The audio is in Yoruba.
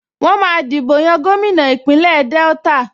Wọ́n máa dìbò yan gómìnà Ìpínlẹ̀ Delta